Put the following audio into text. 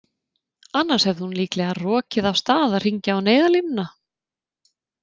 Annars hefði hún líklega rokið af stað að hringja á neyðarlínuna.